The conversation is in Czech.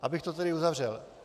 Abych to tedy uzavřel.